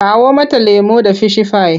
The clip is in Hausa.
Kawo mata lemo da fishifai!